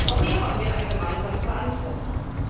Auch hier haben wir eine gemeinsame Verantwortung.